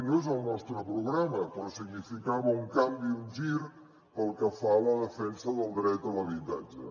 no és al nostre programa però significava un canvi un gir pel que fa a la defensa del dret a l’habitatge